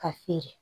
Ka se